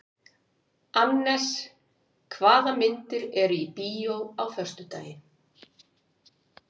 Annes, hvaða myndir eru í bíó á föstudaginn?